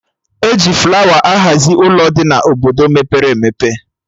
E ji flawa ahazi Ụlọ dị na Obodo mepere emepe